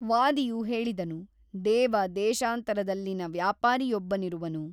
ವಾದಿಯು ಹೇಳಿದನು ದೇವ ದೇಶಾಂತರದಲ್ಲಿನ ವ್ಯಾಪಾರಿಯೊಬ್ಬನಿರುವನು.